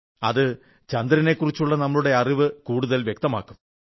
അത് ചന്ദ്രനെക്കുറിച്ചുള്ള നമ്മുടെ അറിവ് കൂടുതൽ വ്യക്തമാക്കും